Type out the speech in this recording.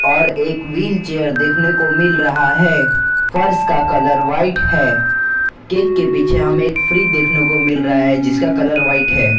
और एक व्हीलचेयर देखने को मिल रहा है फर्श का कलर व्हाइट है केक के पीछे हमे एक फ्रिज देखने को मिल रहा है जिसका कलर व्हाइट है।